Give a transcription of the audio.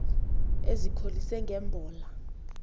ezikholise nge mbola